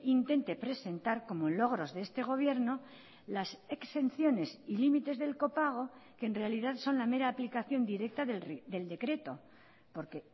intente presentar como logros de este gobierno las exenciones y límites del copago que en realidad son la mera aplicación directa del decreto porque